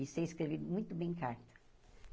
E sei escrever muito bem carta.